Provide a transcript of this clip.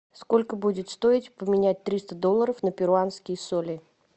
сколько будет стоить поменять триста долларов на перуанские соли